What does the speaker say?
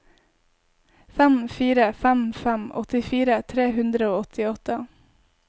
fem fire fem fem åttifire tre hundre og åttiåtte